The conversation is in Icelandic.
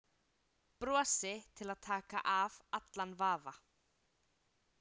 Brosi til að taka af allan vafa.